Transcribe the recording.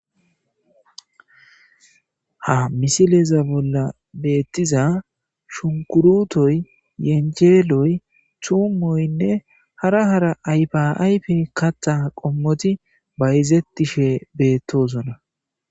Ha misileza bolla beettiza shunkurutoy yenjeeloy tumoynne hara hara aypaaype katha qommoti bayzettishe beettoosona.